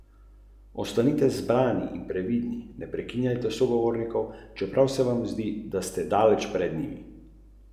Torej petina.